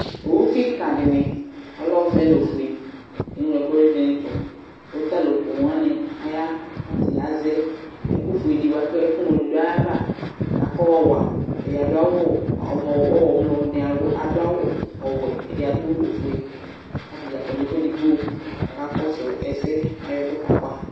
Owu kɩkzdɩnɩ ɔlɛ ɔvɛ nʋ ofue eŋlo ɛkʋvɛnɩ tʋ kʋ t'alʋ poo wanɩ aya ; kʋ tɛ azɛ ɛkʋfuedɩ bʋa kʋ ɛkʋŋlo dʋ ayava kafɔɔ wa Ɛdɩ adʋ awʋ amɔ ɔmlɔ nɩ adʋ awu ɔwɛ ɛdɩ adʋ ofue k'atanɩ kɔ n'ɛfʋ edigbo k'aka kɔsʋ ɛsɛ , k'ayɔ ɛkʋɛ ka wa